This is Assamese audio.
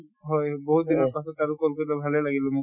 হয় বহুত দিনৰ পাছত আৰু call কৰিলে, ভালে লাগিলে মোক